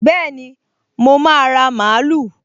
Bẹ́ẹ̀ni, mo máa ra mààúlù